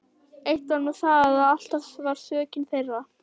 Eitt var nú það að alltaf var sökin þeirra.